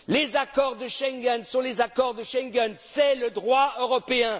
de suite! Les accords de Schengen sont les accords de Schengen, c'est le droit